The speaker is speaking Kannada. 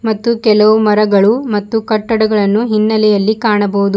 ಮತ್ತು ಕೆಲವು ಮರಗಳು ಮತ್ತು ಕಟ್ಟಡಗಳನ್ನು ಹಿನ್ನೆಲೆಯಲ್ಲಿ ಕಾಣಬಹುದು.